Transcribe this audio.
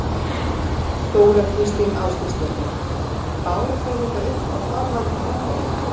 Þóra Kristín Ásgeirsdóttir: Báru þið þetta upp á formann nefndarinnar?